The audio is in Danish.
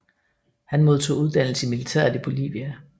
Han modtog uddannelse i militæret i Bolivia